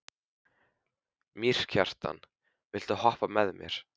Mýrkjartan, viltu hoppa með mér?